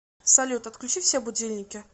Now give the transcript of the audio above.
салют отключи все будильники